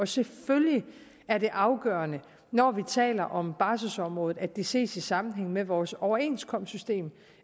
selvfølgelig er det afgørende når vi taler om barselsområdet at det ses i sammenhæng med vores overenskomstsystem